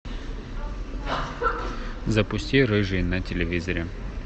запусти рыжий на телевизоре